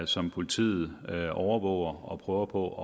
som politiet overvåger og prøver på